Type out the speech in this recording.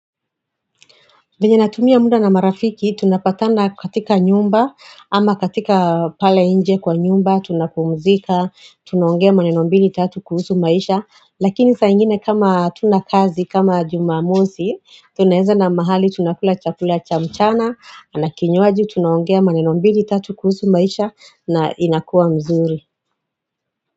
Venye natumia muda na marafiki, tunapatana katika nyumba, ama katika pale nje kwa nyumba, tunapumzika, tunaongea maneno mbili tatu kuhusu maisha, lakini saingine kama hatuna kazi, kama jumamosi, tuneanda na mahali, tunakula chakula cha mchana, na kinywaji, tunaongea manenombili tatu kuhusu maisha, na inakuwa mzuri.